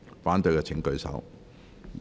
反對的請舉手。